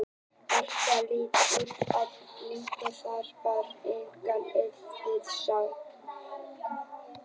Marteinn leit út á lyngheiðina, þar var enga eftirför að sjá.